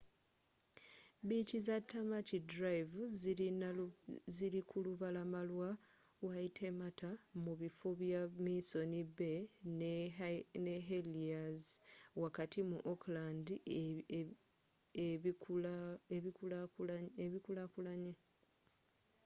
biici za tamaki drive zili ku lubalama lwa waitemata mu bifo bya missoni bay ne heliers wakati mu auckland ebikulakulanye